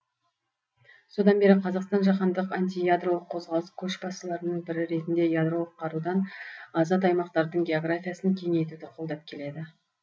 содан бері қазақстан жаһандық антиядролық қозғалыс көшбасшыларының бірі ретінде ядролық қарудан азат аймақтардың географиясын кеңейтуді қолдап келеді